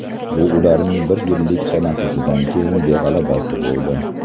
Bu ularning bir yillik tanaffusdan keyingi g‘alabasi bo‘ldi.